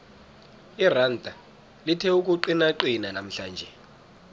iranda lithe ukuqinaqina namhlanje